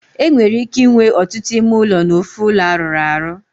E nwere ike inwe otutu ime ulo n'ofu ulo aruru aru.